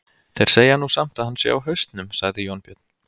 Þeir segja nú samt að hann sé á hausnum, sagði Jónbjörn.